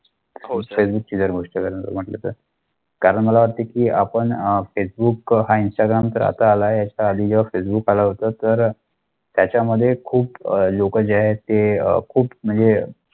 म्हटले तर कारण मला वाटते की आपण अह फेसबुक ह्य इंस्टाग्राम तर आता आला आहे याचा आधी फेसबुक आला होता तर त्याच्यामध्ये खूप अह लोक जे आहे ते खूप म्हणजे